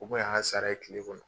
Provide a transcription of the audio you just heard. U ko y'an sara ye kile kɔnɔ